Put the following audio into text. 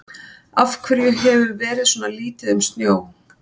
Af hverju hefur verið svona lítið um snjó?